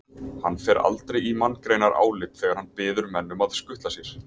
Hann fer aldrei í manngreinarálit þegar hann biður menn um að skutla sér.